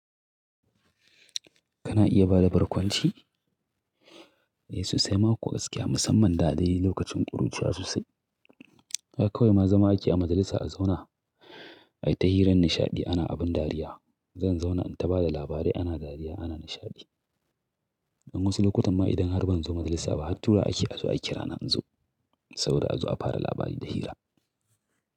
Kana iya bada barkwanci? Eh so sai ma kuwa gaskiya, musamman da dai lokacin ƙuruciya sosai. Har kawai ma zama ake a majalisa a zauna, ai ta hiran nishaɗi ana abin dariya. Zan zauna in ta bada labarai ana dariya ana nishaɗi. Dan wasu lokutan ma idan har ban zo majalisa ba, hattura wa ake a zo a kira na in zo, saboda a zo a fara labari da hira.